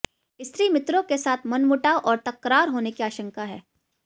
स्त्री मित्रों के साथ मनमुटाव और तकरार होने की आशंका है